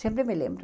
Sempre me lembro.